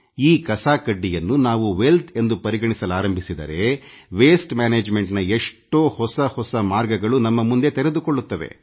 ಈ ಕಸ ಕಡ್ಡಿಯನ್ನು ನಾವು ಐಶ್ವರ್ಯ ಎಂದು ಪರಿಗಣಿಸಲಾರಂಭಿಸಿದರೆ ತ್ಯಾಜ್ಯ ನಿರ್ವಹಣೆಯ ಹಲವು ಹೊಸ ಹೊಸ ಮಾರ್ಗಗಳು ನಮ್ಮ ಮುಂದೆ ತೆರೆದುಕೊಳ್ಳುತ್ತವೆ